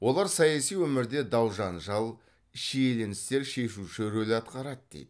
олар саяси өмірде дау жанжал шиеленістер шешуші рөл атқарады дейді